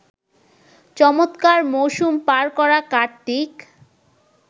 চমৎকার মৌসুম পার করা কার্তিক